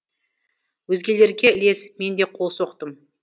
өзгелерге ілесіп мен де қол соқтым